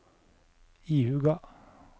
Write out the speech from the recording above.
ihuga